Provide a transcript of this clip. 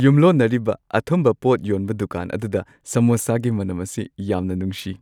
ꯌꯨꯝꯂꯣꯟꯅꯔꯤꯕ ꯑꯊꯨꯝꯕ ꯄꯣꯠ ꯌꯣꯟꯕ ꯗꯨꯀꯥꯟ ꯑꯗꯨꯗ ꯁꯃꯣꯁꯥꯒꯤ ꯃꯅꯝ ꯑꯁꯤ ꯌꯥꯝꯅ ꯅꯨꯡꯁꯤ꯫